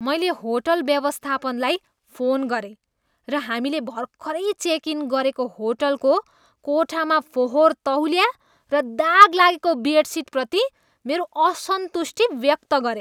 मैले होटल व्यवस्थापनलाई फोन गरेँ र हामीले भर्खरै चेक इन गरेको होटलको कोठामा फोहोर तौलिया र दाग लागेको बेडसिटप्रति मेरो असन्तुष्टि व्यक्त गरेँ।